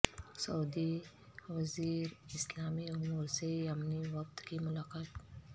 سعودی وزیر اسلامی امور سے یمنی وفد کی ملاقات